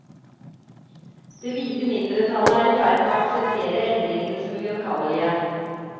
Det kvite mindretalet er i ferd med å akseptere endringane som ugjenkallelege.